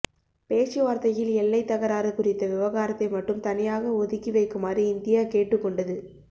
பேச்சுவாா்த்தையில் எல்லைத் தகராறு குறித்த விவகாரத்தை மட்டும் தனியாக ஒதுக்கி வைக்குமாறு இந்தியா கேட்டுக் கொண்டது